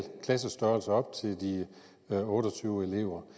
klassestørrelser på op til de otte og tyve elever